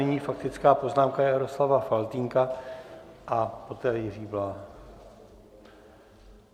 Nyní faktická poznámka Jaroslava Faltýnka a poté Jiří Bláha.